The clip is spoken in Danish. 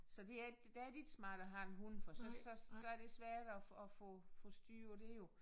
Så det er ikke der er det ikke smart at have en hund for så så så er det svært at at få få styr på det jo